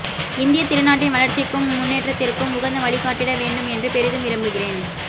இந்தியத் திருநாட்டின் வளர்ச்சிக்கும் முன்னேற்றத்திற்கும் உகந்த வழிகாட்டிட வேண்டும் என்று பெரிதும் விரும்புகிறேன்